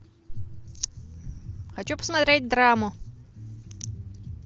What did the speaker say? хочу посмотреть драму